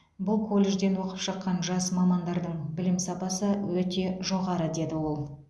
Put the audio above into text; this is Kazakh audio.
бұл колледжден оқып шыққан жас мамандардың білім сапасы өте жоғары деді ол